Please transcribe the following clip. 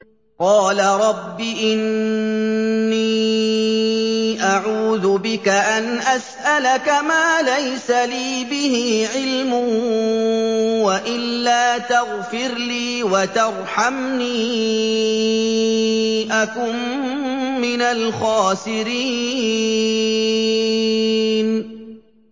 قَالَ رَبِّ إِنِّي أَعُوذُ بِكَ أَنْ أَسْأَلَكَ مَا لَيْسَ لِي بِهِ عِلْمٌ ۖ وَإِلَّا تَغْفِرْ لِي وَتَرْحَمْنِي أَكُن مِّنَ الْخَاسِرِينَ